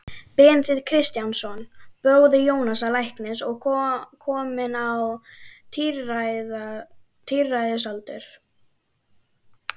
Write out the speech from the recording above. Benedikt Kristjánsson, bróðir Jónasar læknis og kominn á tíræðisaldur.